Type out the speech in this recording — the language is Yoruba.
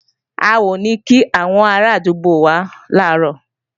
A ò ní kí àwọn arádúgbò wá làárọ̀